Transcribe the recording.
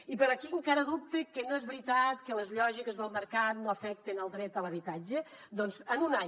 i per a qui encara dubta que no és veritat que les lògiques del mercat no afecten el dret a l’habitatge doncs en un any